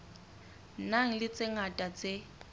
nang le tse ngata tse